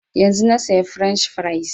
Yanzun na saya french fries